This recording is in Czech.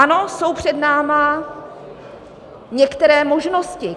Ano, jsou před námi některé možnosti.